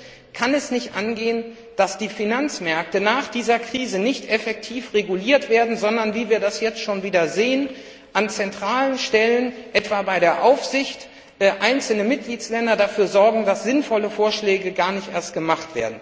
Drittens kann es nicht angehen, dass die Finanzmärkte nach dieser Krise nicht effektiv reguliert werden, sondern wie wir das jetzt schon sehen, dass an zentralen Stellen, etwa bei der Aufsicht, einzelne Mitgliedsländer dafür sorgen, dass sinnvolle Vorschläge gar nicht erst gemacht werden.